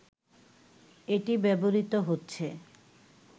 এটি ব্যবহৃত হচ্ছে